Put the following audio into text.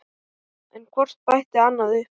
En hvort bætti annað upp.